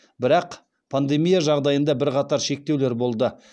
бірақ пандемия жағдайында бірқатар шектеулер болды